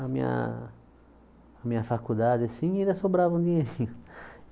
A minha a minha faculdade, assim, e ainda sobrava um dinheirinho.